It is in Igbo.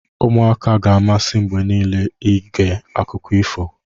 ụmụaka ga-amasị mgbe niile ige akụkọ ifo